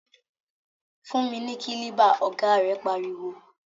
Fún mi ni kílíbà! ọ̀gá rẹ̀ pariwo.